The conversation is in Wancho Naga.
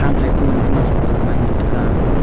tham sa kuman kuma ngan taiga.